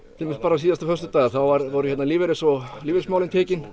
síðasta föstudag þá voru lífeyrismálin lífeyrismálin tekin